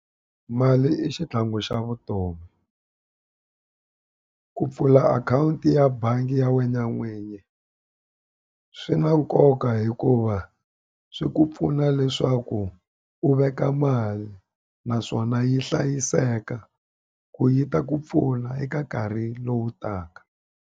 Mali i xitlhangu xa vutomi. Ku pfula akhawunti ya bangi ya wena n'winyi, swi na nkoka hikuva a swi ku pfuna leswaku u veka mali naswona yi hlayiseka. Leswaku yi ta ku pfuna eka nkarhi lowu taka.